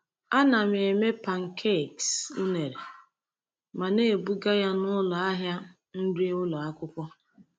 Ana m eme pancakes unere ma na-ebuga ya n’ụlọ ahịa nri ụlọ akwụkwọ.